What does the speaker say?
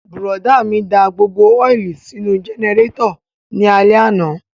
Bùrọ̀dá mi da gbogbo ọ́ìlì sínú jẹnẹrétọ̀ ní alẹ́ àná